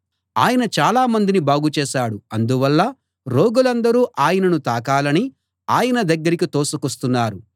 ఆయన చాలామందిని బాగు చేశాడు అందువల్ల రోగులందరూ ఆయనను తాకాలని ఆయన దగ్గరికి తోసుకొస్తున్నారు